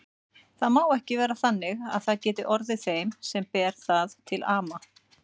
Það má ekki vera þannig að það geti orðið þeim sem ber það til ama.